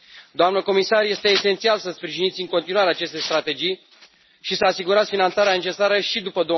Doamnă comisar, este esențial să sprijiniți în continuare aceste strategii și să asigurați finanțarea necesară și după